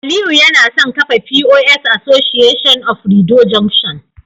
Aliyu yana son kafa POS Association of Rido junction